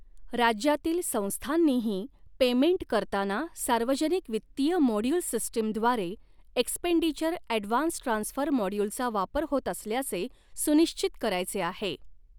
राज्यातील संस्थांनीही, पेमेंट करतांना सार्वजनिक वित्तीय मोड्यूल सिस्टीम द्वारे एकसपेंडीचर ऐडवान्स ट्रान्सफर मोड्यूलचा वापर होत असल्याचे सुनिश्चित करायचे आहे.